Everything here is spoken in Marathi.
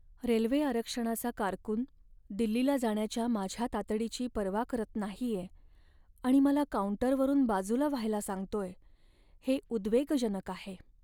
रेल्वे आरक्षणाचा कारकून दिल्लीला जाण्याच्या माझ्या तातडीची पर्वा करत नाहीये आणि मला काउंटरवरून बाजूला व्हायला सांगतोय, हे उद्वेगजनक आहे.